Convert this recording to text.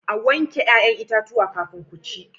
A wanke 'ya'yan itatuwa kafin ku ci.